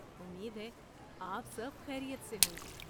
امید ہے آپ سب خیریت سے ہوں گے۔